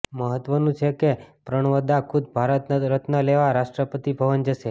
મહત્વનું છે કે પ્રણવદા ખુદ ભારત રત્ન લેવા રાષ્ટ્રપતિ ભવન જશે